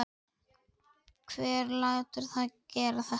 Hver lætur þá gera þetta?